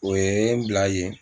O ye n bila yen.